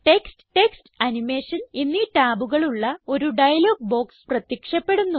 text text animation എന്നീ ടാബുകളുള്ള ഒരു ഡയലോഗ് ബോക്സ് പ്രത്യക്ഷപ്പെടുന്നു